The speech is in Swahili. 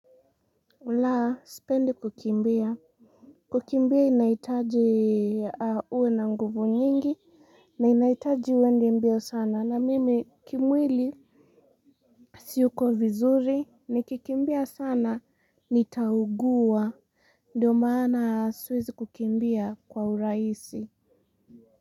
La, sipendi kukimbia. Kukimbia inahitaji uwe na nguvu nyingi, na inahitaji uende mbio sana. Na mimi kimwili, siyuko vizuri, nikikimbia sana, nitaugua. Ndiyo maana siwezi kukimbia kwa urahisi.